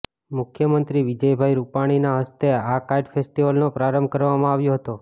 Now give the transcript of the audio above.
મુખ્યમંત્રી વિજયભાઈ રૂપાણીના હસ્તે આ કાઇટ ફેસ્ટિવલનો પ્રારંભ કરવામાં આવ્યો હતો